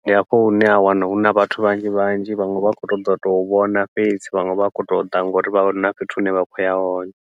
ndi hafho hune ha wana huna vhathu vhanzhi vhanzhi vhaṅwe vha khou to ḓa u tou vhona fhedzi, vhaṅwe vha khou to ḓa ngauri vha vha na fhethu hune vha khoya hone.